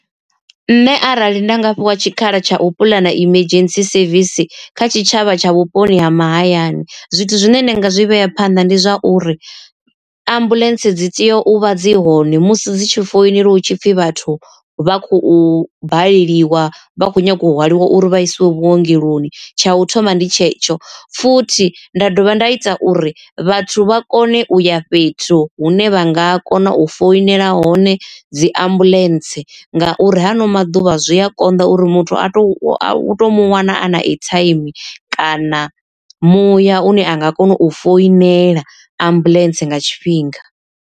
Nṋe arali nda nga fhiwa tshikhala tsha u puḽana emergency service kha tshitshavha tsha vhuponi ha mahayani zwithu zwine nda nga zwi vhea phanḓa ndi zwa uri, ambuḽentse dzi tea u vha dzi hone musi dzi tshi foinela hu tshipfi vhathu vha khou baleliwa vha kho nyaga u hwaliwa uri vha isiwe vhuongeloni. Tsha u thoma ndi tshetsho, futhi nda dovha nda ita uri vhathu vha kone u ya fhethu hune vha nga kona u foinela hone dzi ambuḽentse, ngauri ha ano maḓuvha zwi a konḓa uri muthu a to uto muwana a na airtime kana muya une a nga kona u foinela ambuḽentse nga tshifhinga.